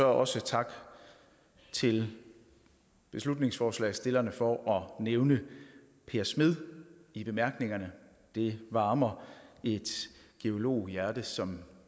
også tak til beslutningsforslagsstillerne for at nævne per smed i bemærkningerne det varmer et geologhjerte som